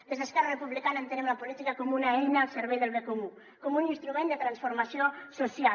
des d’esquerra republicana entenem la política com una eina al servei del bé comú com un instrument de transformació social